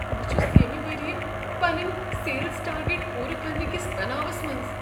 بہٕ چھس ییٚمہ ؤریہ پنٕنۍ سیلز ٹارگیٹ پورٕ کرنٕکس تناوس منز۔